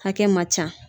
Hakɛ man ca